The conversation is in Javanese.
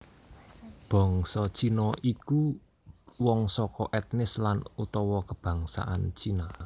Bangsa Cina ya iku wong saka ètnis lan utawa kabangsan Cina